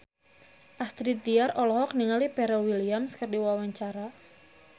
Astrid Tiar olohok ningali Pharrell Williams keur diwawancara